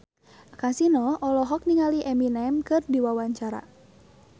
Kasino olohok ningali Eminem keur diwawancara